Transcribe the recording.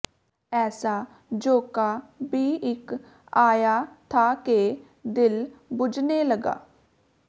ਐਸਾ ਝੋਂਕਾ ਭੀ ਇੱਕ ਆਯਾ ਥਾ ਕੇ ਦਿਲ ਬੁਝਨੇ ਲਗਾ